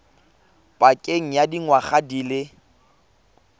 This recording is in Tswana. pakeng ya dingwaga di le